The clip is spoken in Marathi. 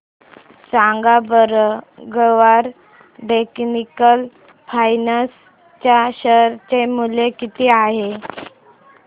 सांगा बरं गरवारे टेक्निकल फायबर्स च्या शेअर चे मूल्य किती आहे